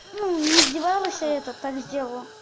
ну не издевалась а это так сделала